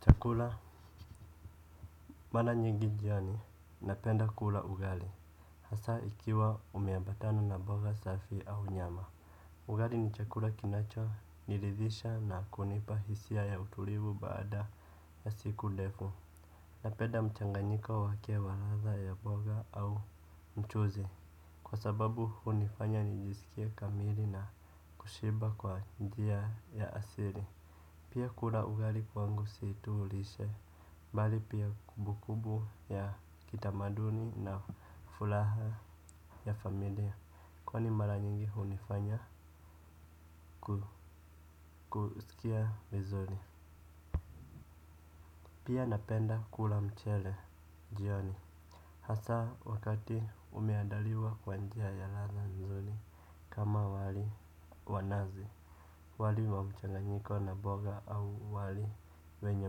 Chakula. Mara nyingi jioni napenda kula ugali. Hasa ikiwa umeambatana na mboga safi au nyama ugali ni chakula kinachoniridhisha na kunipa hisia ya utulivu baada ya siku ndefu. Napenda mchanganyiko wake wa ladha ya mboga au mchuzi. Kwa sababu hunifanya nijisikie kamili na kushiba kwa njia ya asili. Pia kula ugali kwangu si tu lishe, bali pia kumbukumbu ya kitamaduni na furaha ya familia, kwani mara nyingi hunifanya kusikia vizuri. Pia napenda kula mchele, jioni. Hasa wakati umeandaliwa kwa njia ya ladha mzuri, kama wali wanazi. Wali wa mchanganyiko na mboga au wali wenye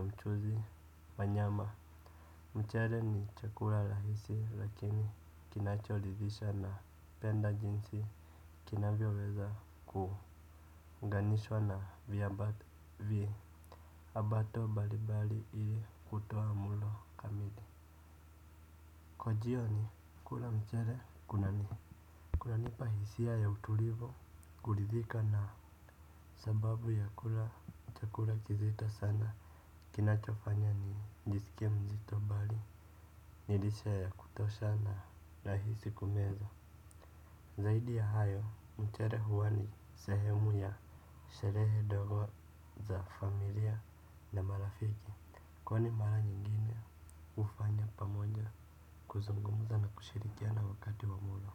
mchuzi wa nyama mchele ni chakula rahisi lakini kinachoridhisha napenda jinsi kinavyoweza kuunganishwa na viambata Abato mbalimbali ili kutoa mlo kamili. Kwa jioni kula mchele kunanipa hisia ya utulivu kuridhika na sababu ya kula chakula kizito sana. Kinachofanya nijisike mzito bali, ni lishe ya kutosha na rahisi kumeza. Zaidi ya hayo, mchele huwa ni sehemu ya sherehe ndogo za familia na marafiki. Kwani mara nyingine hufanya pamoja kuzungumuza na kushirikiana wakati wa mlo.